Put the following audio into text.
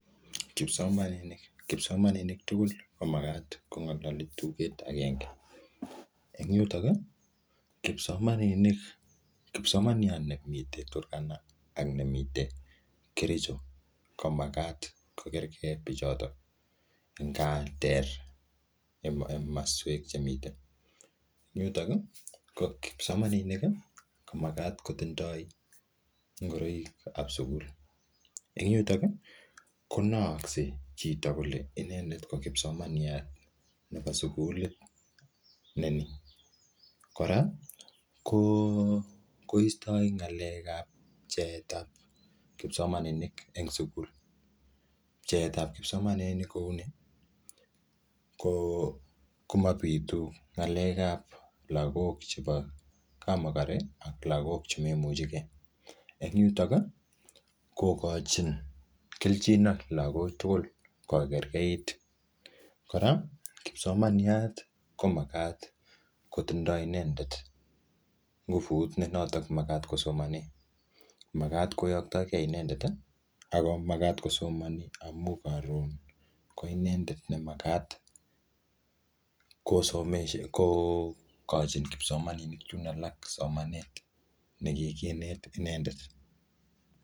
Kipsomaninik, kipsomaninik tugul ko magat kongalali tuket agenge. Eng yutok, kipsomaninik, kipsomaniat ne mitei Turkana, ak nemite Kericho, ko magat ko kergei bichotok. Nga ter maswek che mitei. Eng yutok, ko kipsomaninik ko magat kotindoi ngoroik ao sukul. Eng yutok, konaakse chito kole inendet ko kipsomaniat nebo sukulit ne ni. Kora, ko-koistoi ng'alek ap pcheet ap kipsomaninik eng sukul. Pcheet ap kipsomaninik kouni. Ko-ko mapitu ng'alek ap lagok chebo kap makor, ak lagok che memuchikei. Eng yutok, kokochin kelchin ak lagok tugul kokerkeit. Kora, kipsomaniat, ko magat kotindoi inendet nguvut ne notok maat kosomani. Magat koyoktagei inendet, ako magat kosomani amu karon ko inendet ne magat kosomeshoni kokochin kipsomaninik chun alak somanet ne kikinet inendet